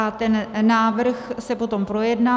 A ten návrh se potom projedná.